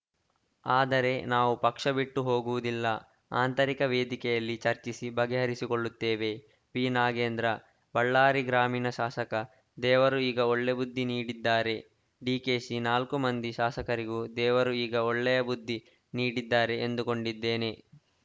ಆದರೆ ನಾವು ಪಕ್ಷ ಬಿಟ್ಟು ಹೋಗುವುದಿಲ್ಲ ಆಂತರಿಕ ವೇದಿಕೆಯಲ್ಲಿ ಚರ್ಚಿಸಿ ಬಗೆಹರಿಸಿಕೊಳ್ಳುತ್ತೇವೆ ಬಿನಾಗೇಂದ್ರ ಬಳ್ಳಾರಿ ಗ್ರಾಮೀಣ ಶಾಸಕ ದೇವರು ಈಗ ಒಳ್ಳೆಯ ಬುದ್ಧಿ ನೀಡಿದ್ದಾರೆ ಡಿಕೆಶಿ ನಾಲ್ಕು ಮಂದಿ ಶಾಸಕರಿಗೂ ದೇವರು ಈಗ ಒಳ್ಳೆಯ ಬುದ್ಧಿ ನೀಡಿದ್ದಾರೆ ಎಂದುಕೊಂಡಿದ್ದೇನೆ